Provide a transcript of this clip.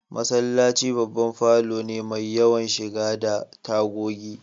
Masallaci babban falo ne mai yawan shiga da tagogi